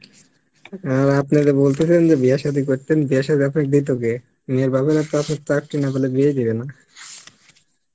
অ্যাঁএবার আপনারে বলতেচেন যে বিয়া সাদি করতেন বিয়া আপনার সথে দিত কে? মেয়ের বাবা চাকরি না হলে বিয়েই দেবে না